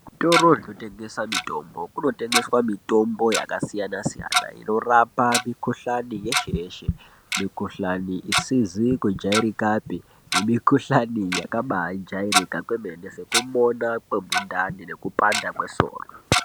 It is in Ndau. Zvitoro zvinotengesa mitombo kunotengeswe mitombo yakasiyana siyana inorapa mikuhlani yeshe yeshe mikuhlani isizi kujairikapi nemikuhlani yakabajairika kwemene sekumona kwemundani nekupanda kwesoro.